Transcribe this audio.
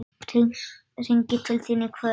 Hringi til þín í kvöld!